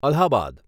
Allahabad